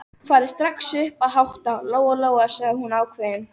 Farðu strax upp að hátta, Lóa-Lóa, sagði hún ákveðin.